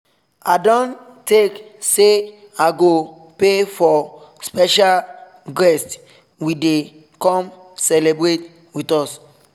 i don take say i go pay for special guest we dey come celebrate with us